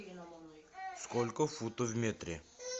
сколько футов в метре